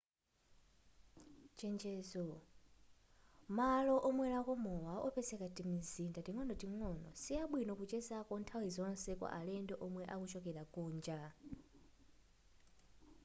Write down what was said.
chenjezo malo omwerako mowa opezeka mtimizinda ting'onoting'ono siabwino kuchezako nthawi zonse kwa alendo omwe akuchokera kunja